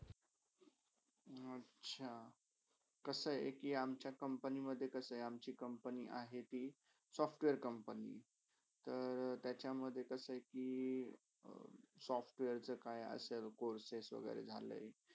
अच्छा! कशा आहे कि अमच्या company मधे अमची company आहेती software company तर त्याच्यामधे कसे आहे कि software काय courses वागेरे झाले कि.